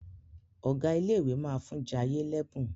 Ọgá ilé ìwé má fún Jaiye l'ebun.